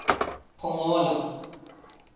pongola